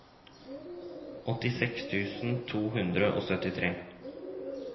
åttiseks tusen to hundre og syttitre